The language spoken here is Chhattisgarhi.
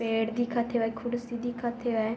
पेड़ दिखत हेवय कुर्सी दिखत हेवय।